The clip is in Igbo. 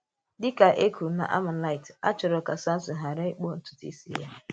Dị̀ ka e kwùrù n’ámàlítè, a chọrọ̀ ka Sámṣìn ghàrà ịkpụ̀ ntùtù̀ ísì ya.